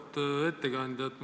Auväärt ettekandja!